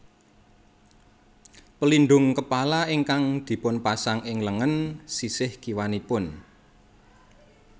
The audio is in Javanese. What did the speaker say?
Pelindung kepala ingkang dipun pasang ing lengen sisih kiwanipun